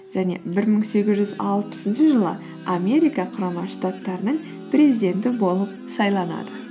және бір мың сегіз жүз алпысыншы жылы америка құрама штаттарының президенті болып сайланады